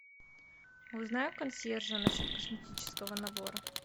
узнай у консьержа насчет косметического набора